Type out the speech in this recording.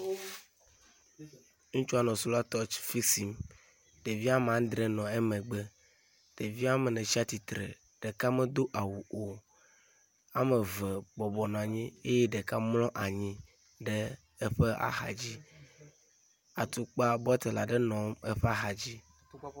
ŋutsua nɔ sola torch fixim ɖevi amandrē nɔ emegbe ɖevia mene tsatsitre ɖeka medó awu o wɔmeve bɔbɔ nɔ anyi ye ɖeka mlɔ anyi ɖe eƒe axadzi eƒe tukpa bɔtel aɖe nɔ eƒe axadzi